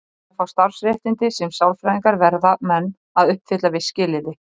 Til að fá starfsréttindi sem sálfræðingar verða menn að uppfylla viss skilyrði.